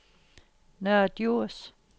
Nørre Djurs